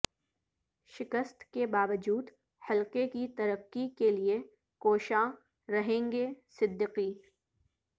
شکست کے باوجود حلقہ کی ترقی کے لئے کوشاں رہیں گے صدیقی